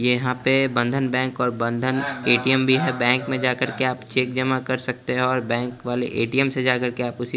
ये यहाँं पे बंधन बैंक और बंधन ए_टी_एम भी है बैंक में जा करके आप चेक जमा कर सकते हो और बैंक वाले ए_टी_एम से जा करके सी --